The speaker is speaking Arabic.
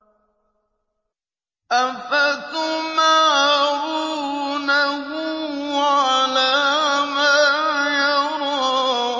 أَفَتُمَارُونَهُ عَلَىٰ مَا يَرَىٰ